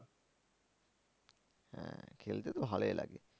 হ্যাঁ খেলতে তো ভালোই লাগে।